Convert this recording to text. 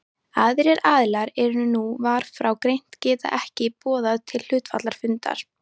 Aðrir aðilar en nú var frá greint geta ekki boðað til hluthafafundar.